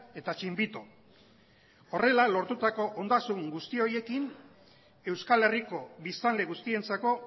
eta txinbito horrela lortutako ondasun guzti horiekin euskal herriko biztanle guztientzako